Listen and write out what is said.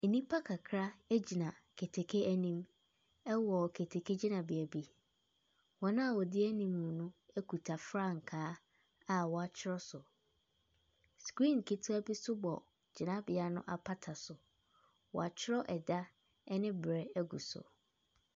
Nnipa kakra gyina keteke anim wɔ keteke gyinabea bi, wɔn a wɔdi anim no kita frankaa a wɔatwer so. Screen ketewa bi nso bɔ gyinabea no apata so, wɔatwerɛ da ne berɛ wɔ so.